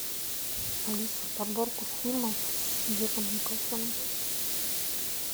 алиса подборку фильмов с джеком николсоном